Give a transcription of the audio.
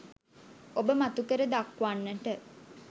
ඔබ මතුකර දක්වන්නට